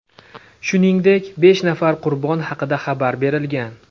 Shuningdek, besh nafar qurbon haqida xabar berilgan.